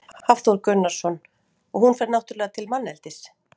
Hafþór Gunnarsson: Og hún fer náttúrulega til manneldis?